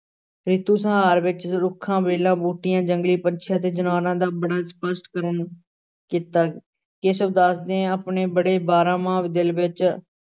ਰਿਤੂ ਸੰਹਾਰ ਵਿਚ ਰੁੱਖਾਂ, ਵੇਲਾਂ, ਬੂਟਿਆਂ, ਜੰਗਲੀ ਪੰਛੀਆਂ ਤੇ ਜਨੌਰਾਂ ਦਾ ਬੜਾ ਸਪੱਸ਼ਟ ਕੀਤਾ, ਕੇਸ਼ਵ ਦਾਸ ਨੇ ਆਪਣੇ ਬਣੇ ਬਾਰਾਂ-ਮਾਹ ਦਿਲ ਵਿੱਚ